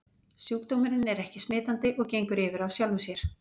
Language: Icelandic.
Sjúkdómurinn er ekki smitandi og gengur yfir af sjálfu sér.